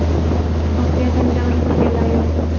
Voqeadan jabr ko‘rganlar yo‘q.